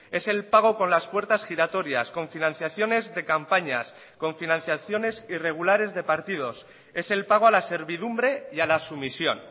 es el pago con las puertas giratorias con financiaciones de campañas con financiaciones irregulares de partidos es el pago a la servidumbre y a la sumisión